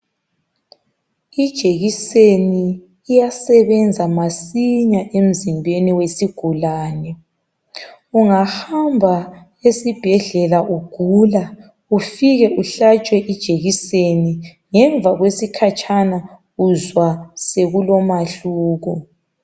Ijekiseni iyasebenza masinya emzimbeni wesigulane. Ungahamba esibhedlela ugula ufike uhlatshwe ijekiseni ngemva kwesikhatshana uzwa sekulomahluko.